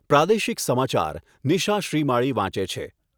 પ્રાદેશિક સમાચાર નિશા શ્રીમાળી વાંચે છે.